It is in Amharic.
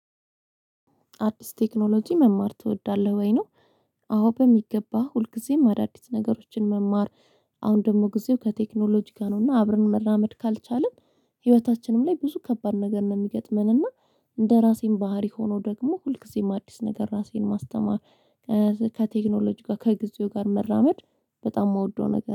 አዲስ ቴክኖሎጂ መማር ትወዳለህ ወይ ነው? አዎ በሚገባ ሁልጊዜም አዳዲስ ነገሮችን መማር አሁን ደግሞ ጊዜው ከቴክኖሎጂ ጋር ነውና አብረን መራመድ ካልቻልን ህይወታችንም ላይ ብዙ ከባድ ነገር ነው የሚገጥመን። እና እንደራሴን ባህሪ ሆኖ ደግሞ ሁልጊዜም አዲስ ነገር ራሴን ማስተማር። ከቴክኖሎጂ ጋር ከጊዜው ጋር መራመድ በጣም የምወደው ነገር